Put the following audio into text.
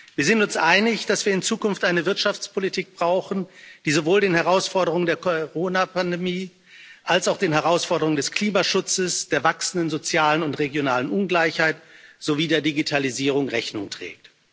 Wir sind uns einig, dass wir in Zukunft eine Wirtschaftspolitik brauchen, die sowohl den Herausforderungen der Coronapandemie als auch den Herausforderungen des Klimaschutzes, der wachsenden sozialen und regionalen Ungleichheit sowie der Digitalisierung Rechnung trägt.